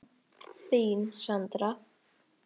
Þín, Sandra.